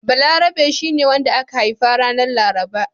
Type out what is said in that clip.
Balarabe shi ne wanda aka haifa ranar Laraba.